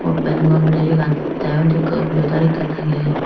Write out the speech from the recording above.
open goronnay yegan teu undi computar ekkan aagay.